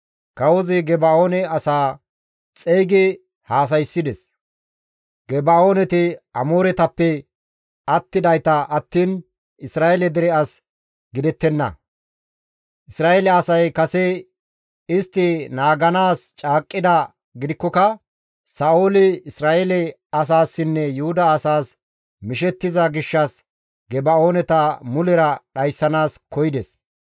Kawozi Geba7oone asaa xeygi haasayssides; Geba7ooneti Amooretappe attidayta attiin Isra7eele dere as gidettenna; Isra7eele asay kase istti naaganaas caaqqidaa gidikkoka Sa7ooli Isra7eele asaassinne Yuhuda asaas mishettiza gishshas Geba7ooneta mulera dhayssanaas koyides.